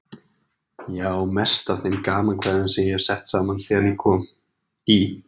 Ég á mest af þeim gamankvæðum sem ég hef sett saman síðan ég kom í